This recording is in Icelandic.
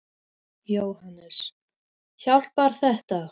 Jóhannes: Hjálpar þetta?